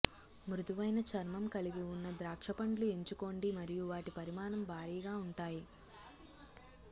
మృదువైన చర్మం కలిగి ఉన్న ద్రాక్షపండ్లు ఎంచుకోండి మరియు వాటి పరిమాణం భారీగా ఉంటాయి